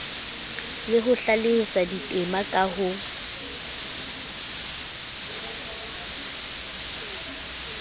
le ho hlalosa ditema ka